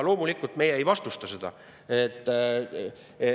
Loomulikult, me ei vastusta seda.